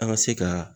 An ka se ka